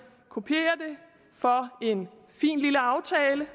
kopiere det for en fin lille aftale